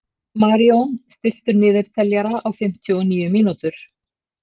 Marjón, stilltu niðurteljara á fimmtíu og níu mínútur.